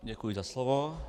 Děkuji za slovo.